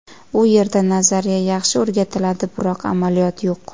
U yerda nazariya yaxshi o‘rgatiladi, biroq amaliyot yo‘q.